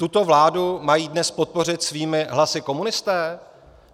Tuto vládu mají dnes podpořit svými hlasy komunisté?